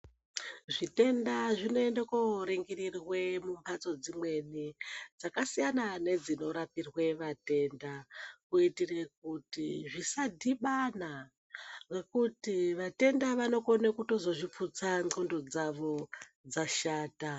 Zvitenda zvinoende koringirirwe mumhatso dzimweni dzakasiyana nedzinorapirwe vatenda. Kitire kuti zvisadhibana nekuti vatenda vanokona kutozo zviputsa ndxondo dzavo dzashata.